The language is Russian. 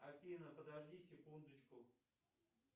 афина подожди секундочку